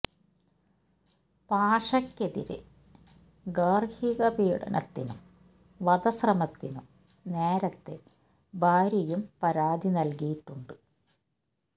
പാഷയ്ക്കെതിരെ ഗാര്ഹിക പീഡനത്തിനും വധ ശ്രമത്തിനും നേരത്തെ ഭാര്യയും പരാതി നല്കിയിട്ടുണ്ട്